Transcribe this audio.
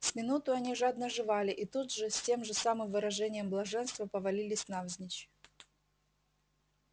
с минуту они жадно жевали и тут же с тем же самым выражением блаженства повалились навзничь